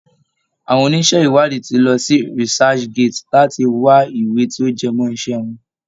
Àwọn oníṣẹ́ ìwádìí ti lọ sí researchgate láti wá ìwé tí ó jẹmọ́ iṣẹ́ wọn.